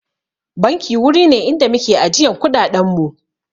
Banki wuri ne inda muke ajiyan kuɗaɗen mu